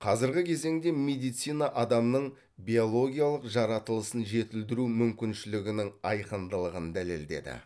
қазіргі кезеңде медицина адамның биологиялық жаратылысын жетілдіру мүмкіншілігінің айқындылығын дәлелдеді